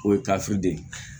O ye kafiri de ye